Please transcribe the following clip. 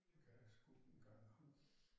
Det kan jeg sgu ikke engang huske